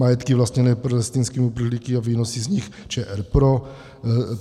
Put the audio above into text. Majetky vlastněné palestinskými uprchlíky a výnosy z nich - ČR pro.